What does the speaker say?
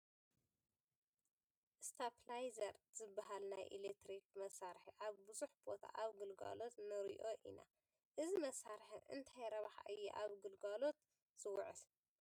ስታቢላይዘር ዝበሃል ናይ ኤለክትሪክ መሳርሒ ኣብ ብዙሕ ቦታ ኣብ ግልጋሎት ንሪኦ ኢና፡፡ እዚ መሳርሒ እንታይ ረብሓ እዩ ኣብ ግልጋሎት ዝውዕል?